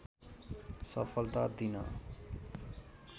सफलता दिन